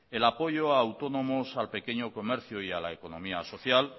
el apoyo a autónomos al pequeño comercio y a la economía social